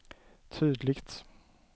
tydligt